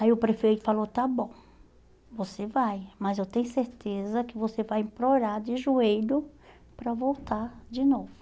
Aí o prefeito falou, está bom, você vai, mas eu tenho certeza que você vai implorar de joelho para voltar de novo.